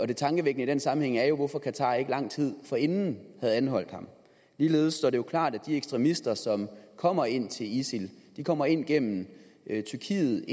det tankevækkende i den sammenhæng er hvorfor qatar ikke lang tid forinden havde anholdt ham ligeledes står det jo klart at de ekstremister som kommer ind til isil kommer ind gennem tyrkiet